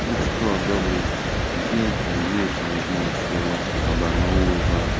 ну что добрый день там вечер не знаю что у вас там по барнаул по